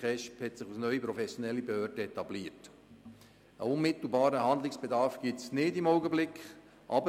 Die KESB hat sich als neue professionelle Behörde etabliert, und ein unmittelbarer Handlungsbedarf besteht im Augenblick nicht.